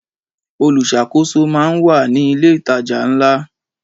Olùṣàkóso máà ń wà ní ilé ìtajà ńlá.